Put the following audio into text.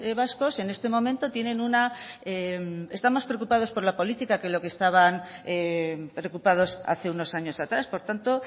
vascos en este momento tienen una están más preocupados por la política que lo que estaban preocupados hace unos años atrás por tanto